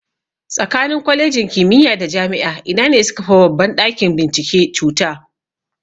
Tsakanin Kwalejin kimiya da Jami'a ina ne sukafi babban ɗakin bincike cuta?